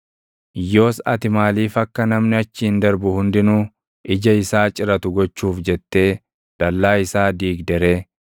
Yoos ati maaliif akka namni achiin darbu hundinuu ija isaa ciratu gochuuf jettee dallaa isaa diigde ree?